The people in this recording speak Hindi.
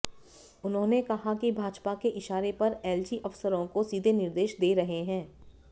उन्होंने कहा कि भाजपा के इशारे पर एलजी अफसरों को सीधे निर्देश दे रहे हैं